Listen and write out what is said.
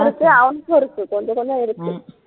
இருக்கு அவனுக்கு இருக்கு கொஞ்சம் கொஞ்சம் இருக்கு